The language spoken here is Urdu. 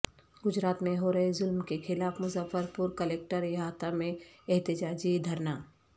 گجرات میں ہورہے ظلم کےخلاف مظفرپور کلکٹر یٹ احاطہ میں احتجاجی دھرنا